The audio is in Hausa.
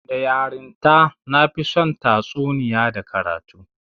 Da yarinta, na fi son tatsuniya da karatu